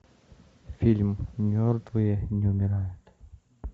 фильм мертвые не умирают